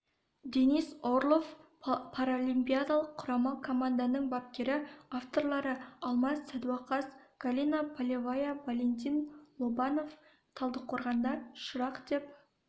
денис орлов паралимпиадалық құрама команданың бапкері авторлары алмас садуақас галина полевая валентин лобанов талдықорғанда шырақ деп